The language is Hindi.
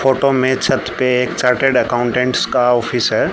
फोटो में छत पे एक चार्टर्ड अकाउंटेंट्स का ऑफिस है।